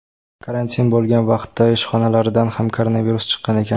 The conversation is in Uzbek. Karantin bo‘lgan vaqtda ishxonalaridan ham koronavirus chiqqan ekan.